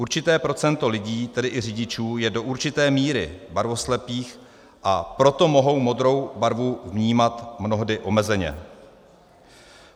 Určité procento lidí, tedy i řidičů, je do určité míry barvoslepých, a proto mohou modrou barvu vnímat mnohdy omezeně.